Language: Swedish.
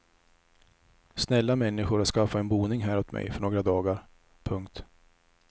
Snälla människor har skaffat en boning här åt mig för några dagar. punkt